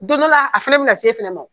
Don dɔ la a fana bina na se fana ma